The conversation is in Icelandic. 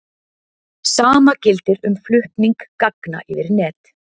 Sama gildir um flutning gagna yfir net.